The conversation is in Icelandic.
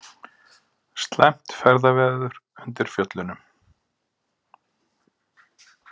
Slæmt ferðaveður undir Fjöllunum